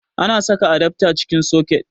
Ana saka adafta cikin soket